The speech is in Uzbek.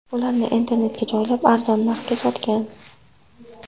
Ularni internetga joylab, arzon narxga sotgan.